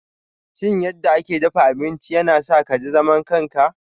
Sanin yadda ake dafa abinci yana sa ka ji zaman kanka.